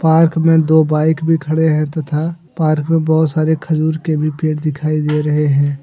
Park में दो bike भी खड़े हैं तथा पार्क में बहुत सारे खजूर के भी पेड़ दिखाई दे रहे हैं।